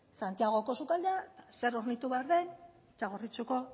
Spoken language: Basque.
santiagoko sukaldean zer hornitu behar den txagorritxuko